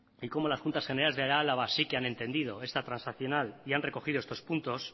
y como las juntas generales de álava sí que han entendido esta transaccional y han recogido estos puntos